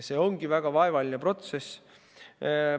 See ongi väga vaevaline protsess.